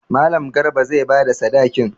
Mallam Garba zai ba da sadakin.